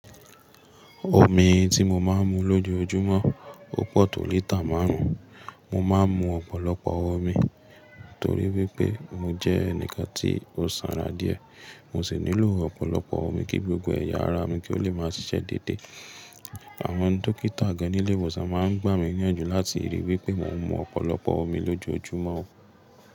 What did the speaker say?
Omi tí mo máa ń mu lójoójúmọ́, ó pọ̀ tó lítà márùn ún. Mo máa ń mu ọ̀pọ̀lọpọ̀ omi torí wípé mo jẹ́ ẹnìkan tí ó sanra díẹ̀. Mo sì nílò ọ̀pọ̀lọpọ̀ omi kí gbogbo ẹ̀yà ara mi kí ó lè máa ṣiṣẹ́ déédé. Àwọn dókítà gan-an nílé ìwòsàn máa ń gbà mí níyànjú láti ríi wípé mò ń mu ọ̀pọ̀lọpọ̀ omi lójoójumọ́.